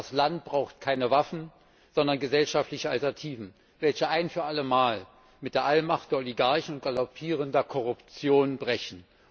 Das Land braucht keine Waffen, sondern gesellschaftliche Alternativen, welche ein für alle Mal mit der Allmacht der Oligarchen und der galoppierenden Korruption brechen.